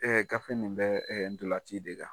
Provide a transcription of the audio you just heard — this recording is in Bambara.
gafe nin bɛ ndolanci de kan.